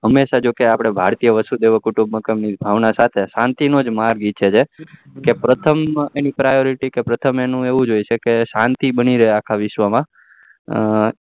હંમેશા જોકે આપડે ભારતીએ વસુ દેવ કુટુંબ માં ભાવના સાથે શાંતિ નો માર્ગ જ ઈચ્છે છે કે પ્રથમ એની priority ની પ્રથમ એનું એવું જ હોય છે કે શાંતિ બની રે આખા વિશ્વ માં